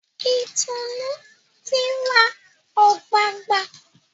Itunu tí rá ogbagba.